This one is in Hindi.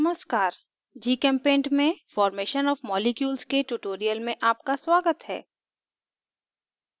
नमस्कार gchempaint में formation of molecules के tutorial में आपका स्वागत है